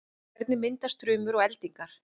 hvernig myndast þrumur og eldingar